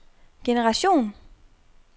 generation